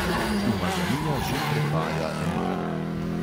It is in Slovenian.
Umazanija že prepaja emajl.